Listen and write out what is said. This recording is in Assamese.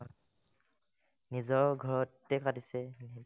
নিজৰ ঘৰতে পাতিছে